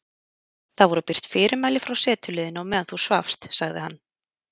Það voru birt fyrirmæli frá setuliðinu á meðan þú svafst sagði hann.